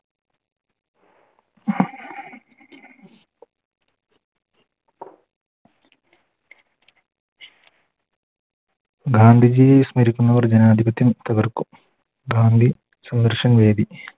ഗാന്ധിജിയെ സ്മരിക്കുന്നവർ ജനാതിപത്യം തകർക്കും ഗാന്ധി സംഘർഷന വേദി